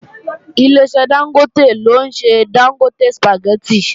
Ileṣẹ́ Dángótè ló ń ṣe Dángótè sùpàgẹ́tì